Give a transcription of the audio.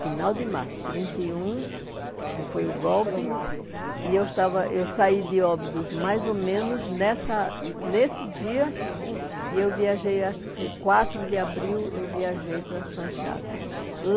final de março, trinta e um, que foi o golpe, e eu estava, eu saí de Óbidos mais ou menos nessa nesse dia, e eu viajei, acho que foi quatro de abril, eu viajei para Santiago.